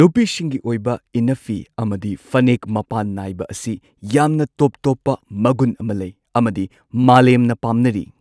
ꯅꯨꯄꯤꯁꯤꯡꯒꯤ ꯑꯣꯏꯕ ꯏꯟꯅꯐꯤ ꯑꯃꯗꯤ ꯐꯅꯦꯛ ꯃꯄꯥꯟ ꯅꯥꯏꯕ ꯑꯁꯤ ꯌꯥꯝꯅ ꯇꯣꯞ ꯇꯣꯞꯄ ꯃꯒꯨꯟ ꯑꯃ ꯂꯩ ꯑꯃꯗꯤ ꯃꯥꯂꯦꯝꯅ ꯄꯥꯝꯅꯔꯤ꯫